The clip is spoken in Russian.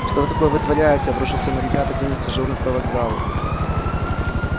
что вы такое вытворяете обрушился на ребят один из дежурных по вокзалу